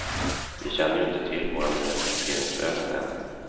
Vi känner ju inte till våra nya taxeringsvärden än.